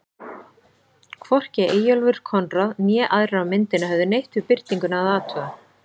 Hvorki Eyjólfur Konráð né aðrir á myndinni höfðu neitt við birtinguna að athuga.